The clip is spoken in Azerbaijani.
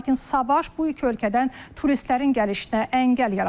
Lakin savaş bu iki ölkədən turistlərin gəlişinə əngəl yaradıb.